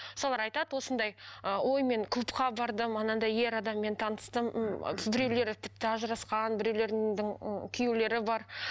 солар айтады осындай ы ой мен клубқа бардым анандай ер адаммен таныстым м біреулер тіпті ажырасқан біреулердің ы күйеулері бар